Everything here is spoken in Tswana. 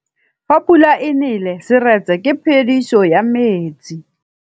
Fa pula e nelê serêtsê ke phêdisô ya metsi.